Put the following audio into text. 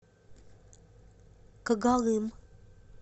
когалым